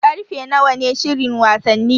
Karfe nawa ne shirin wasanni?